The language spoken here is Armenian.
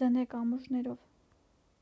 ձնե կամուրջներով